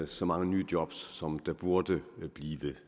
så mange nye job som der burde blive